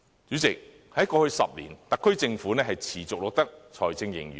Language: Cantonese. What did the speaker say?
主席，過去10年，特區政府持續錄得財政盈餘。